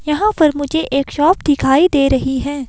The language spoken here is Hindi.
यहां पर मुझे एक शॉप दिखाई दे रही हैं।